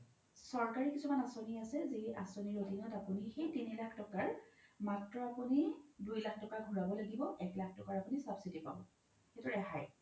চৰকাৰি কিছুমান আচনী আছে যি আচনীৰ আধিনত আপোনি সেই তিনি লাখ তকাৰ মাত্ৰ আপোনি দুই লাখ তকা ঘুৰাব লাগিব এক লাখ তকাৰ আপুনি subsidy পাব সেইতো ৰেহাই